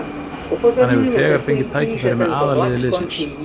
Hann hefur þegar fengið tækifæri með aðalliði liðsins.